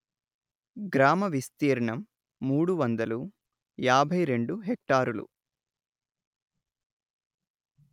గ్రామ విస్తీర్ణం మూడు వందలు యాభై రెండు హెక్టారులు